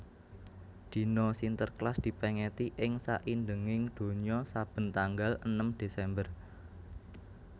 Dina Sinterklas dipèngeti ing saindenging donya saben tanggal enem Desember